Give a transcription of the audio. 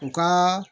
U ka